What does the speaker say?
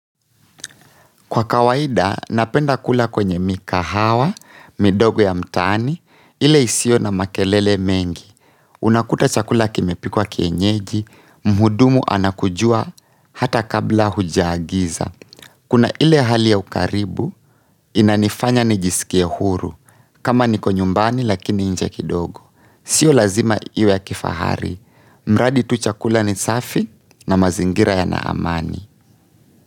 Kwa kawaida, napenda kula kwenye mikahawa, midogo ya mtaani, ile isiyo na makelele mengi. Unakuta chakula kimepikwa kienyeji, mhudumu anakujua hata kabla hujaagiza. Kuna ile halibya ukaribu inanifanya nijiskie huru, kama niko nyumbani lakini nje kidogo sio lazima iwe ya kifahari. Mradi tu chakula ni safi na mazingira yana amani.